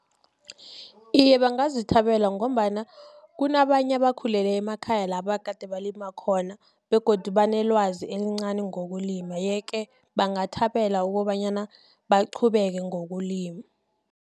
Iye, bangazithabela, ngombana kunabanye ebakhulele emakhaya labakade balima khona, begodu banelwazi elincani ngokulima, yeke bangathambela ukobanyana baqhubeke ngokulima.